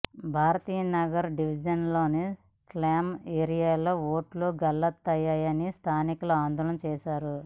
భారతీనగర్ డివిజన్లోని స్లమ్ ఏరియాలో ఓట్లు గల్లంతయ్యాయని స్థానికులు ఆందోళన చేశారు